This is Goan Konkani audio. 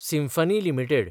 symphony limited